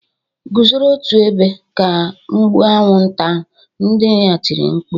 "Guzoro otu ebe! ka m gbuo anwụnta" nne ya tiri mkpu